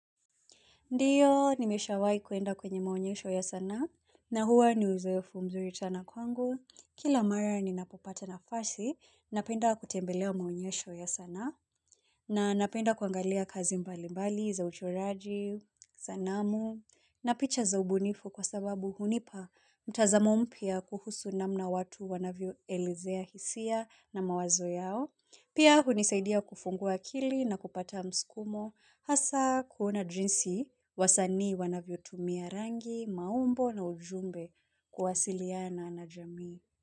Ndiyo, nimeshawai kuenda kwenye maonyesho ya sanaa, na huwa ni uzoefu mzuri tana kwangu. Kila mara ninapopata nafasi, napenda kutembelea maonyesho ya sanaa, na napenda kuangalia kazi mbalimbali za uchoraji, sanamu, na picha za ubunifu kwa sababu hunipa mtazamo mpya kuhusu namna watu wanavyoelezea hisia na mawazo yao. Pia hunisaidia kufungua akili na kupata mskumo hasa kuona jinsi, wasanii wanavyotumia rangi, maumbo na ujumbe kuwasiliana na jamii.